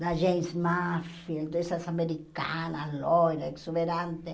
Da gente máfia, dessas americanas, loiras, exuberantes.